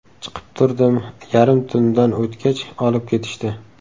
Chiqib turdim, yarim tundan o‘tgach olib ketishdi.